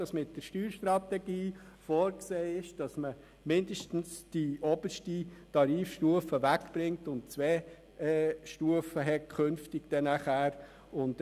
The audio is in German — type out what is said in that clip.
In der Steuerstrategie ist vorgesehen, dass man mindestens die oberste Tarifstufe entfernt und künftig nur noch über zwei Stufen verfügt.